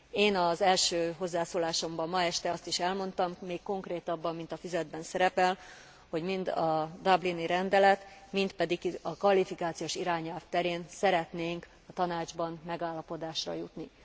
Én az első hozzászólásomban ma este azt is elmondtam, még konkrétabban, mint a füzetben szerepel, hogy mind a dublini rendelet, mind pedig a kvalifikációs irányelv terén szeretnénk a Tanácsban megállapodásra jutni.